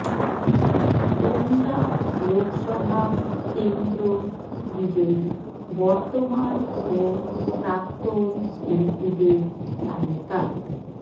গোন্ডা লোকসভা কেন্দ্র বিজয়ী বর্তমান ও প্রাক্তন এমপিদের তালিকা